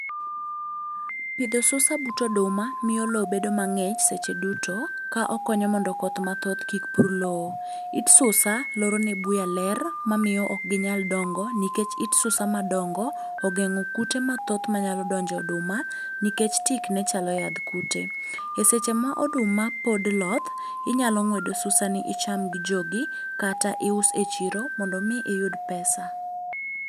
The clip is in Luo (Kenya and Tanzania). Pidho susa but oduma miyo lowo bedo mang'ich seche duto , ka okonyo mondo koth mathoth kik pur lowo. It susa loro ni buya ler mamiyo ok ginyal dongo, nikech it susa madongo ogeng'o kute mathoth manyalo donjo e oduma nikech tikne chalo yadh kute. Eseche ma oduma pod loth, inyalo ng'wedo susani icham gi jogi, kata ius e chiro mondo mi iyud pesa.